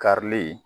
Karili